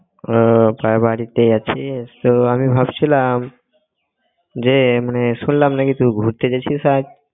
ও তা বাড়িতেই আছিস তো আমি ভাবছিলাম যে মানে শুনলাম নাকি তুই ঘুরতে যাচ্ছিস আজ?